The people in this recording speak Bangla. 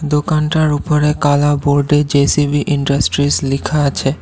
দোকানটার উপরে কালা বোর্ডে জে_সি_বি ইন্ডাস্ট্রিস লিখা আছে।